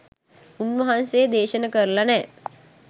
උන්වහන්සේ දේශන කරලා නෑ